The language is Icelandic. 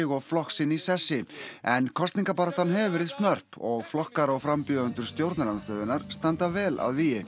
og flokk sinn í sessi en kosningabaráttan hefur verið snörp og flokkar og frambjóðendur stjórnarandstöðunnar standa vel að vígi